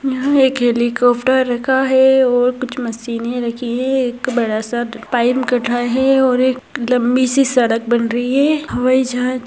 यहा एक हेलिकाप्टर रखा है और कुछ मशीने रखी है एक बड़ा सा और एक लंबी सी सड़क बन रही है हवाई जहाज --